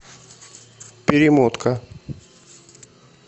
перемотка